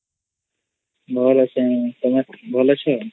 ଭଲ ଅଚେତୁମେ ଭଲ ଅଛ